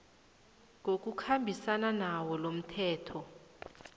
ngokukhambisana nawo lomthetho